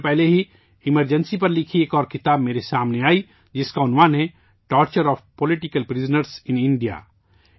کچھ دنوں پہلے ہی ایمرجنسی پر لکھی گئی ایک اور کتاب میرے سامنے آئی جس کاعنوان ہے torture of political prisoners in India